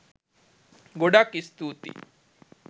ගොඩක් ස්තුතියි